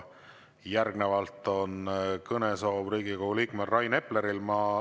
Järgnevalt on kõnesoov Riigikogu liikmel Rain Epleril.